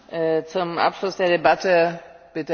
Frau Präsidentin, meine Damen und Herren!